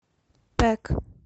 пэк